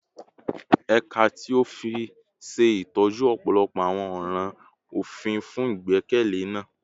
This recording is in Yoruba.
Ẹka ti ofin ṣe itọju ọpọlọpọ awọn ọran ofin fun igbekalẹ naa